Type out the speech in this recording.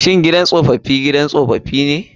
Shin gidan tsofi gidan tsofi ne?